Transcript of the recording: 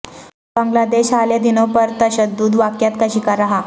بنگلہ دیش حالیہ دنوں پرتشدد واقعات کا شکار رہا